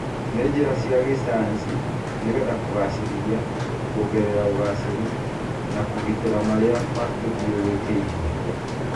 nĩ njĩra cia gĩcayanci nĩ getha kũgacĩrithia, kuongerera ũgacĩru, na kũgitĩra marĩa matũthiũrũrũkĩirie.